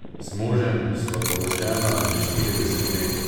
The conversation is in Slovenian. Z možem sva poročena že štirideset let.